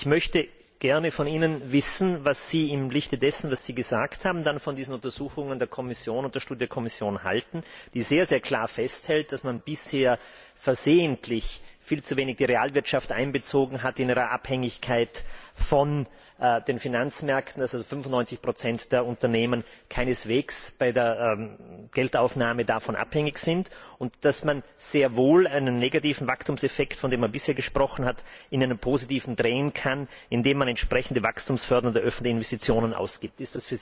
Ich möchte gerne von Ihnen wissen, was Sie im Lichte dessen, was Sie gesagt haben, dann von diesen Untersuchungen der Kommission und von der Studie der Kommission halten, die sehr, sehr klar festhält, dass man bisher versehentlich viel zu wenig die Realwirtschaft in ihrer Abhängigkeit von den Finanzmärkten einbezogen hat, dass also 95 der Unternehmen keineswegs bei der Geldaufnahme davon abhängig sind und dass man sehr wohl einen negativen Wachstumseffekt, von dem man bisher gesprochen hat, in einen positiven drehen kann, indem man entsprechende wachstumsfördernde öffentliche Investitionen tätigt.